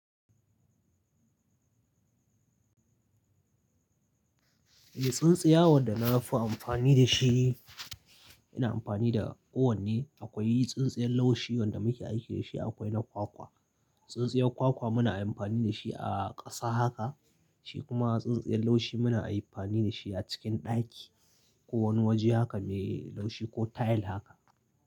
Eh tsintsiya wanda na fi amfani da shi, ina amfani da uwan ne. Akwai tsintsiyar laushi wanda muke aiki da shi, akwai na kwakwa. Tsintsiyar kwakwa muna amfani da shi a ƙasa haka, shi kuma tsintsiyar laushi muna amfani da shi a cikin ɗaki. Ko wani waje haka me laushi ko tile haka.